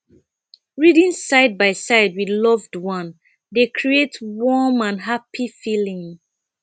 reading side by side with loved one dey create warm and happy feeling